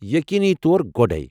یقینی طور گۄڈے۔